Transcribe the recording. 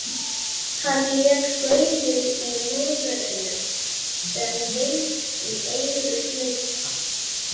Hann lét gaulið í lúðrinum sem vind um eyru þjóta.